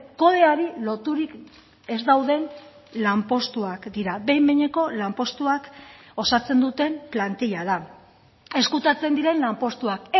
kodeari loturik ez dauden lanpostuak dira behin behineko lanpostuak osatzen duten plantilla da ezkutatzen diren lanpostuak